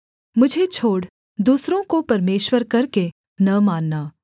मुझे छोड़ दूसरों को परमेश्वर करके न मानना